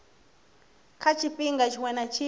kha tshifhinga tshiṅwe na tshiṅwe